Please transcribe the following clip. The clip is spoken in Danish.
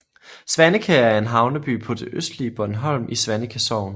Svaneke er en havneby på det østlige Bornholm i Svaneke Sogn